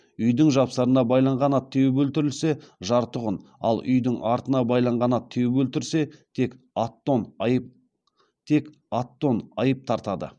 үйдің жапсарына байлаған ат теуіп өлтірілсе жарты құн ал үйдің артына байлаған ат теуіп өлтірсе тек ат тон айып тартады